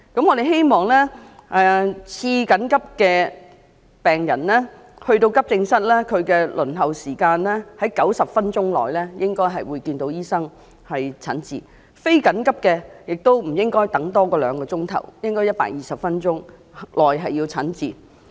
我們希望次緊急病人到達急症室，他們的輪候時間為90分鐘內便能看到醫生並讓他診治，非緊急的病人亦不應輪候超過兩小時，應在120分鐘內便能得到診治。